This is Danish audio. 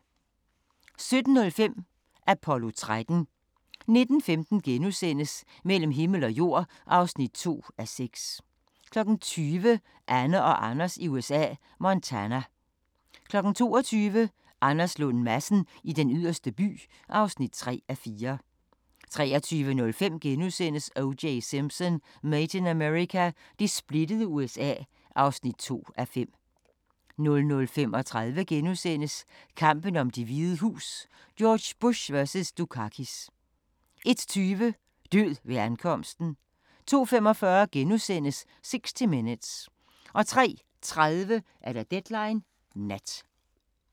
17:05: Apollo 13 19:15: Mellem himmel og jord (2:6)* 20:00: Anne og Anders i USA – Montana 22:00: Anders Lund Madsen i Den Yderste By (3:4) 23:05: O.J. Simpson: Made in America – det splittede USA (2:5)* 00:35: Kampen om Det Hvide Hus: George Bush vs. Dukakis * 01:20: Død ved ankomsten 02:45: 60 Minutes * 03:30: Deadline Nat